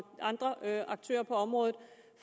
andre aktører på området